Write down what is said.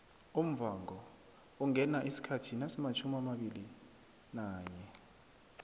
umvhango ungena isikhathi nasimatjhumiabilinanye